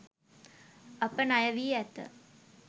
අප ණයවී ඇත.